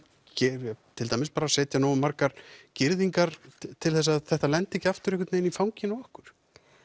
til dæmis setja nógu margar girðingar til þess að þetta lendi ekki aftur í fanginu á okkur